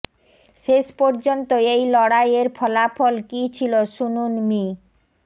শেষ পর্যন্ত এই লড়াইয়ের ফলাফল কী ছিল শুনুন মি